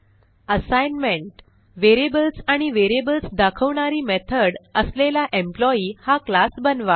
assignment variables आणि variables दाखवणारी method असलेला एम्प्लॉई हा क्लास बनवा